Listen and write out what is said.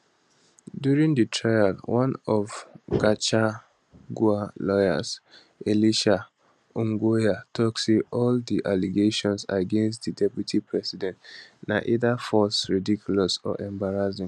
during di trial one of gachagua lawyers elisha ongoya tok say all di allegations against di deputy president na either false ridiculous or embarrassing